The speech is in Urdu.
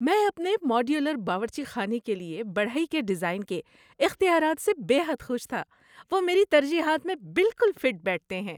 میں اپنے ماڈیولر باورچی خانے کے لیے بڑھئی کے ڈیزائن کے اختیارات سے بے حد خوش تھا۔ وہ میری ترجیحات میں بالکل فٹ بیٹھتے ہیں!